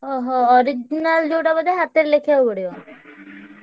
ଓହୋ। original ଯୋଉଟା ବୋଧେ ହାତରେ ଲେଖିଆକୁ ପଡିବ?